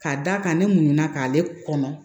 Ka d'a kan ne muɲuna k'ale kɔnɔ